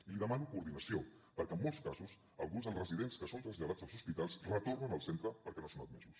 i li demano coordinació perquè en molts casos alguns dels residents que són traslladats als hospitals retornen al centre perquè no són admesos